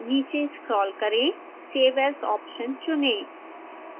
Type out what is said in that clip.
नीचे स्क्रोल करें save as option चुनें